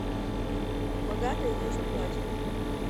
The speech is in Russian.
богатые тоже плачут